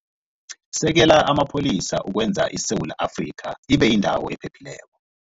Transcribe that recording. Sekela Amapholisa Ukwenza ISewula Afrika Ibe Yindawo Ephephileko